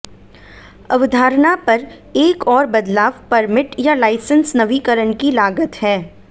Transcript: अवधारणा पर एक और बदलाव परमिट या लाइसेंस नवीकरण की लागत है